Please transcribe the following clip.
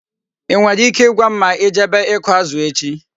I nwere ike I gwam ma I jebe iku azu echi?